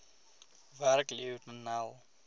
werk lionel